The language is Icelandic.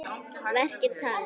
Verkin tala.